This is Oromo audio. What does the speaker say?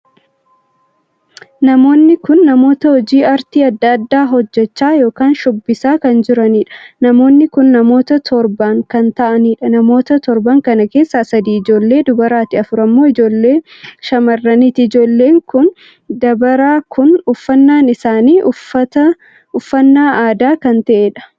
Namoonni kun namoota hojii aartii addaa addaa hojjechaa ykn shubbisaa kan joranidha. namoonni kun namoota torban kan taa'aniidha. namoota torban kana keessa sadii ijoollee dubaraati. afur ammoo ijoollee shammarraniiti. ijoollee kun dabaraa kun uffannaan isaanii uffannaa aadaa kan ta`eedha.